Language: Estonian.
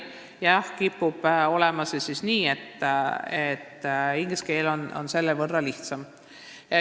Jah, see kipub olema nii, et inglise keeles on selle võrra lihtsam.